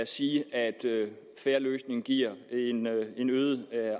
sige at en fair løsning giver en øget